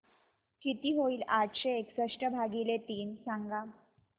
किती होईल आठशे एकसष्ट भागीले तीन सांगा